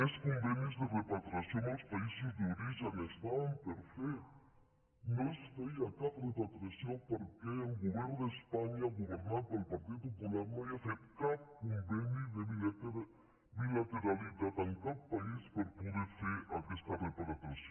més convenis de repatriació amb els països d’origen estaven per fer no es feia cap repatriació perquè el go·vern d’espanya governat pel partit popular no havia fet cap conveni de bilateralitat amb cap país per poder fer aquesta repatriació